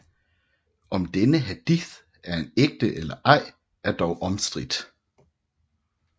Om denne hadith er ægte eller ej er dog omstridt